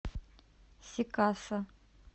сикасо